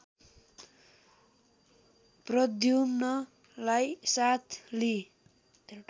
प्रद्युम्नलाई साथ लिई